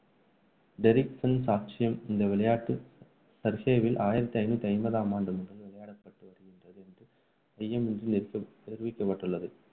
டெரிக்கின் சாட்சியம் இந்த விளையாட்டு சர்றேவில் ஆயிரத்து ஐநூற்று ஐம்பதாம் ஆண்டு முதல் விளையாடப்பட்டு வருங்கின்றது என்று ஐயம் இன்றி நிரூ~ நிரூபிக்கப்பட்டுள்ளது.